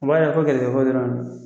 O b'a yira ko gɛrisigɛ ko dɔrɔn